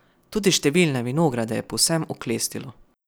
Tudi številne vinograde je povsem oklestilo.